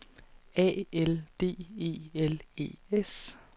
A L D E L E S